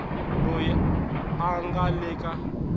loyi a nga le ka